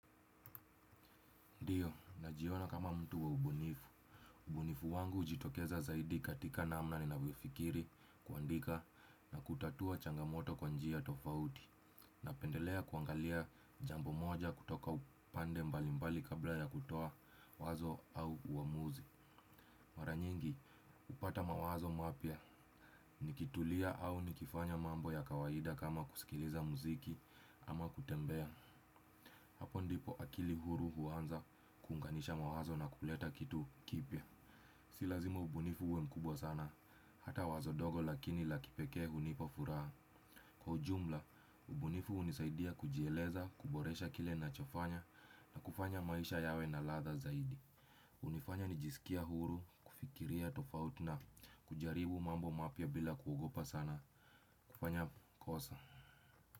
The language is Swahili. Ndio najiona kama mtu wa ubunifu, ubunifu wangu ujitokeza zaidi katika namna ni navyofikiri kuandika na kutatua changamoto kwa njia tofauti. Na pendelea kuangalia jambo moja kutoka upande mbali mbali kabla ya kutoa wazo au uamuzi. Mara nyingi upata mawazo mapya, nikitulia au nikifanya mambo ya kawaida kama kusikiliza muziki ama kutembea. Hapo ndipo akili huru huanza kunganisha mawazo na kuleta kitu kipya. Si lazima ubunifu uwe mkubwa sana. Hata wazo dogo lakini la kipekee hunipa furaha. Kwa ujumla, ubunifu unisaidia kujeleza, kuboresha kile na chofanya na kufanya maisha yawe na ladha zaidi. Unifanya nijisikie huru, kufikiria tofauti na kujaribu mambo mapya bila kuogopa sana kufanya kosa.